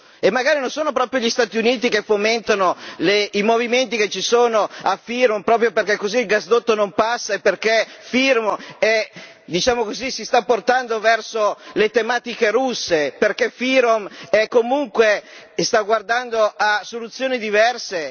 E magari non sono proprio gli Stati Uniti che fomentano i movimenti che ci sono a FYROM, proprio perché così il gasdotto non passa e perché FYROM, diciamo così, si sta portando verso le tematiche russe, perché FYROM, comunque, sta guardando a soluzioni diverse?